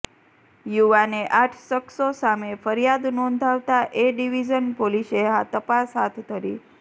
યુવાને આઠ શખ્સો સામે ફરિયાદ નોંધાવતા એ ડિવિઝન પોલીસે તપાસ હાથ ધરી